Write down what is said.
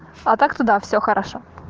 а так-то да все хорошо